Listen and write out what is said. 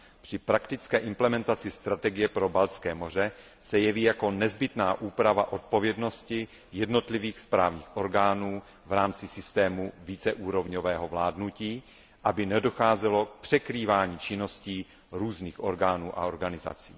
Při praktické implementaci strategie pro Baltské moře se jeví jako nezbytná úprava odpovědnosti jednotlivých správních orgánů v rámci systému víceúrovňového vládnutí, aby nedocházelo k překrývání činností různých orgánů a organizací.